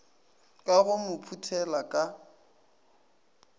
ka go mo phuthela ka